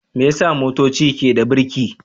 Me yasa motoci ke da birki?